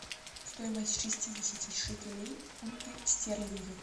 стоимость шестидесяти шекелей в фунты стерлинги